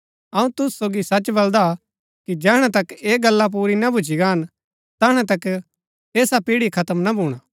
अऊँ तुसु सोगी सच बलदा कि जैहणै तक ऐह गल्ला पुरी ना भूच्ची गान तैहणै तक ऐसा पिढ़ी खत्म ना भूणा